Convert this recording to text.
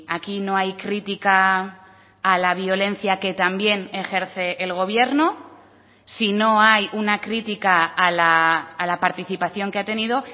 aquí no hay crítica a la violencia que también ejerce el gobierno si no hay una crítica a la participación que ha tenido